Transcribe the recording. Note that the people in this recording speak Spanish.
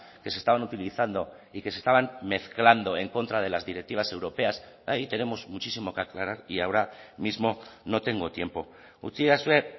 que se estaban utilizando y que se estaban mezclando en contra de las directivas europeas ahí tenemos muchísimo que aclarar y ahora mismo no tengo tiempo utzidazue